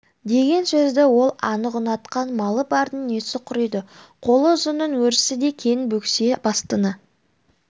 деген сөзді ол анық ұнатқан малы бардың несі құриды қолы ұзынның өрісі де кең бөксе бастыны